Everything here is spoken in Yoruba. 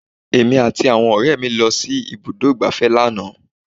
Èmi àti àwọn ọ̀rẹ́ mi lọ sí ibùdó ìgbáfẹ́ lánàá